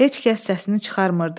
Heç kəs səsini çıxarmırdı.